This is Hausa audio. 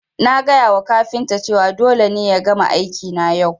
Na gaya wa kafinta cewa dole ne ya gama aiki na yau